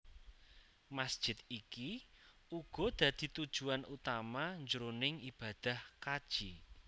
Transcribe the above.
Masjid iki uga dadi tujuan utama jroning ibadah kaji